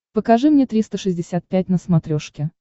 покажи мне триста шестьдесят пять на смотрешке